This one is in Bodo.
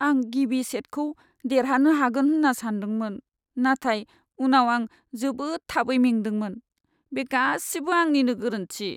आं गिबि सेटखौ देरहानो हागोन होन्ना सानदोंमोन, नाथाय उनाव आं जोबोद थाबै मेंदोंमोन। बे गासिबो आंनिनो गोरोन्थि।